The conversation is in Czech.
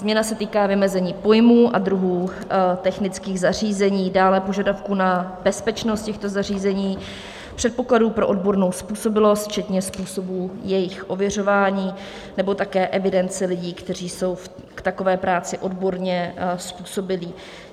Změna se týká vymezení pojmů a druhů technických zařízení, dále požadavků na bezpečnost těchto zařízení, předpokladů pro odbornou způsobilost včetně způsobů jejich ověřování nebo také evidence lidí, kteří jsou k takové práci odborně způsobilí.